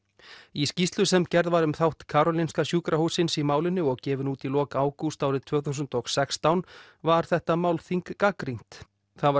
í skýrslu sem gerð var um þátt Karolinska sjúkrahússins í málinu og gefin út í lok ágúst árið tvö þúsund og sextán var þetta málþing gagnrýnt það var